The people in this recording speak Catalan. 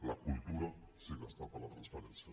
la cultura sí que està per la transparència